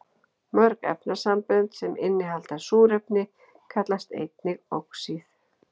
Mörg efnasambönd sem innihalda súrefni kallast einnig oxíð.